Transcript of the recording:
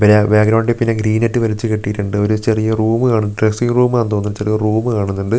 ബരാ ബാക്ക്‌ഗ്രൗണ്ടിൽ പിന്നെ ഗ്രീനെറ്റ് വലിച്ചു കെട്ടീട്ടുണ്ട് ഒരു ചെറിയ റൂമു കാൺ ഡ്രെസ്സിംഗ് റൂമാന്ന് തോന്നുന്നു ചെറിയൊരു റൂമു കാണൂന്നൊണ്ട് ഒ --